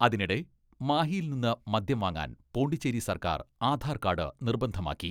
അതിനിടെ, മാഹിയിൽ നിന്ന് മദ്യം വാങ്ങാൻ പോണ്ടിച്ചേരി സർക്കാർ ആധാർ കാഡ് നിർബന്ധമാക്കി.